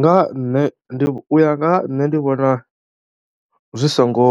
Nga ha nṋe ndi u ya nga ha nṋe ndi vhona zwi songo